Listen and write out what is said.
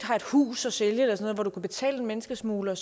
har et hus at sælge hvor du kan betale menneskesmuglere